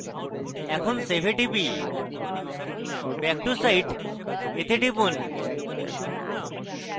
এখন save এ টিপি back to site এ টিপি